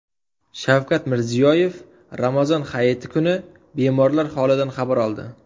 Shavkat Mirziyoyev Ramazon hayiti kuni bemorlar holidan xabar oldi.